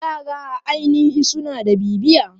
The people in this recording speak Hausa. Yara a ainihi suna da bibiya.